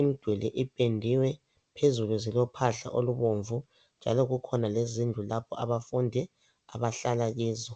Imiduli ipendiwe phezulu zilophahla olubomvu abafundi abahlala kizo